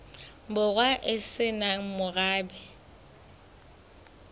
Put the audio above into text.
borwa e se nang morabe